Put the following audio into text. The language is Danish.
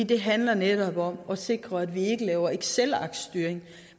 det handler netop om at sikre at vi ikke laver excelarkstyring